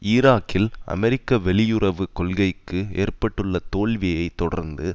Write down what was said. ஈராக்கில் அமெரிக்க வெளியுறவு கொள்கைக்கு ஏற்பட்டுள்ள தோல்வியை தொடர்ந்து